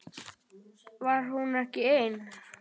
Var hún ekki ein?